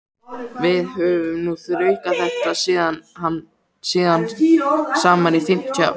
Við höfum nú þraukað þetta síðan saman í fimmtíu ár.